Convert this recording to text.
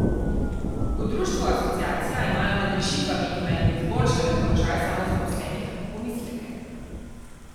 V društvu Asociacija imajo nad rešitvami, ki naj bi izboljšale položaj samozaposlenih, pomisleke.